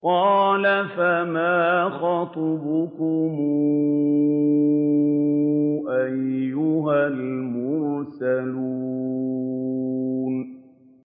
۞ قَالَ فَمَا خَطْبُكُمْ أَيُّهَا الْمُرْسَلُونَ